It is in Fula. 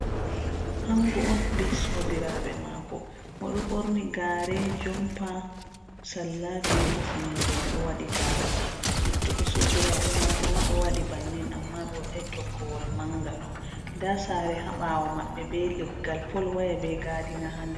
Ango on be sobiraɓe mako, oɗo borni gare, jompa, salla be hufunere, oɗo waɗi darugal, luttuɓe sobiraɓe mako ma ɗo waɗi bannin amma ɓe wadai toggowol manga ɗo, nda sare haɓawo maɓɓe be leggal pol waya be gadina ha ndar.